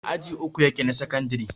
aji uku yake na sakandare